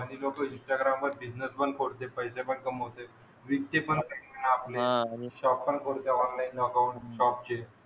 काही लोकं इंस्टाग्रामवर बिझनेस पण खोलते, पैसे पण कमवते. विकते पण आपले. आणि शॉप पण खोलते ऑनलाईन अकाउंट शॉपचे.